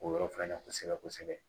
O yɔrɔ fila in na kosɛbɛ kosɛbɛ